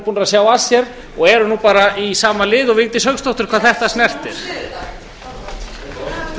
búnir að sjá að sér og eru nú bara í sama liði og vigdís hauksdóttir hvað þetta snertir